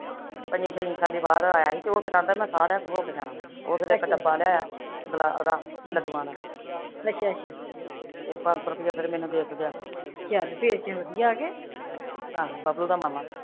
ਪੰਜੀ ਛੇਈ ਸਾਲੀ ਆਇਆ ਸੀ ਤੇ ਉਹ ਫਿਰ ਕਹਿੰਦਾ ਮੈਂ ਸਾਰਿਆ ਕੋਲ ਹੋ ਕੇ ਜਾਣਾ ਵਾ, ਉਹ ਫਿਰ ਇੱਕ ਡੱਬਾ ਲਿਆਇਆ, ਉਹਦਾ ਲੱਡੂਆ ਦਾ ਤੇ ਪੰਜ ਸੋਂ ਰੁੱਪਈਆ ਫਿਰ ਮੈਨੂੰ ਦੇ ਕੇ ਗਿਆ ਆਹੋ ਬੱਬਲੂ ਦਾ ਮਾਮਾ